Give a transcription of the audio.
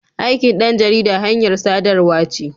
Aikin ɗan jarida hanyar sadarwa ce.